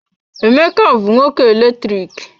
Emeka bụ nwoke eletriki.